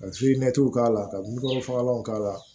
Ka k'a la ka nunkɔrɔ fagalan k'a la